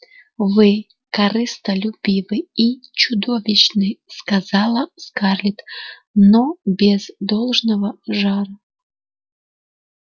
вы корыстолюбивы и чудовищны сказала скарлетт но без должного жара